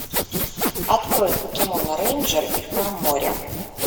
открой покемон рейнджер и храм моря